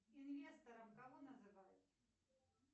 инвестором кого называют